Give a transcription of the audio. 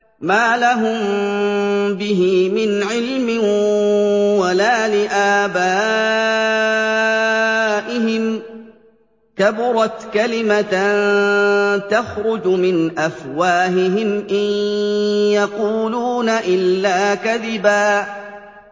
مَّا لَهُم بِهِ مِنْ عِلْمٍ وَلَا لِآبَائِهِمْ ۚ كَبُرَتْ كَلِمَةً تَخْرُجُ مِنْ أَفْوَاهِهِمْ ۚ إِن يَقُولُونَ إِلَّا كَذِبًا